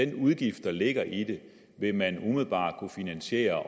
den udgift der ligger i det vil man umiddelbart kunne finansiere